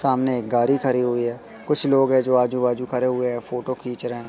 सामने एक गाड़ी खड़ी हुई है कुछ लोग है जो आजू बाजू खड़े हुए हैं फोटो खींच रहे हैं।